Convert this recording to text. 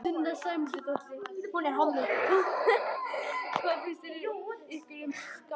Sunna Sæmundsdóttir: Hvað finnst ykkur um skák?